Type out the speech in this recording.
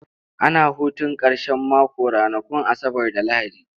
Ana hutun karshen mako ranakun Asabar da Lahadi.